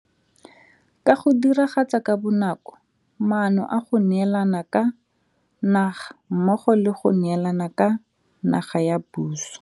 Ka go Diragatsa ka Bonako Maano a go Neelana ka Naga mmogo le go neelana ka naga ya puso.